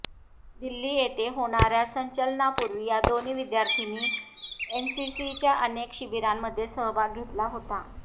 दिल्ली येथे होणाऱया संचलनापूर्वी या दोन्ही विद्यार्थ्यांनी एनसीसीच्या अनेक शिबिरांमध्ये सहभाग घेतला होता